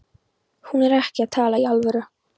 Hún er ekki að tala í alvöru.